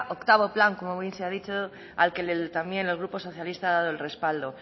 octavo plan como bien se ha dicho al que también el grupo socialista ha dado el respaldo